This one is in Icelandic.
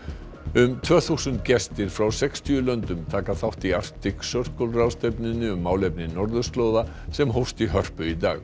um tvö þúsund gestir frá sextíu löndum taka þátt í Arctic Circle ráðstefnunni um málefni norðurslóða sem hófst í Hörpu í dag